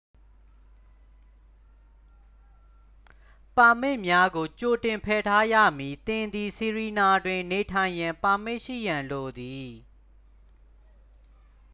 ပါမစ်များကို ကြိုတင်ဖယ်ထားရမည် သင်သည် ဆီရီနာတွင် နေထိုင်ရန် ပါမစ်ရှိရန်လိုသည်